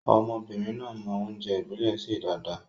Ọmọbìnrin náà mọ oúnjẹ ìbílè ṣe dáadáa.